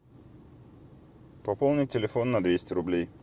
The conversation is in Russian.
пополнить телефон на двести рублей